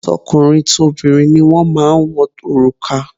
Tọkùnrin tobìnrin ni wọ́n máa ń wọ òrùka